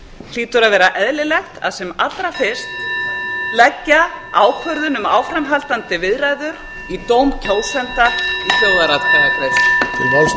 hlýtur að vera eðlilegt að sem allra fyrst leggja ákvörðun um áframhaldandi viðræður í dóm kjósenda í þjóðaratkvæðagreiðslu